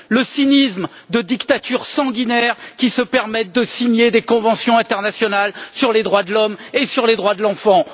Le cynisme de dictatures sanguinaires qui se permettent de signer des conventions internationales sur les droits de l'homme et sur les droits de l'enfant.